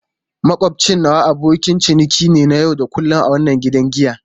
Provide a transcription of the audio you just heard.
Makwabcin nawa abokin ciniki ne na yau da kullun a wannan gidan giya.